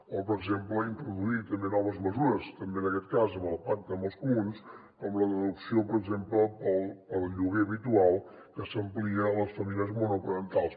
o per exemple introduir també noves mesures també en aquest cas amb el pacte amb els comuns com la deducció per exemple per al lloguer habitual que s’amplia a les famílies monoparentals